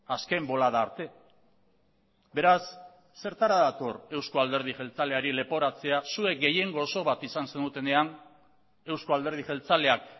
azken bolada arte beraz zertara dator euzko alderdi jeltzaleari leporatzea zuek gehiengo oso bat izan zenutenean euzko alderdi jeltzaleak